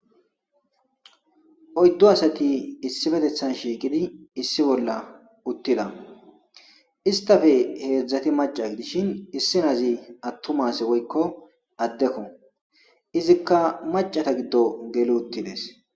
Oydu asati issi bolla shiiqidi issipetathan uttida.izetappe heedzati macca gidishin issinozi attuma woyko addeko. Izika maccata gido geli uttidees.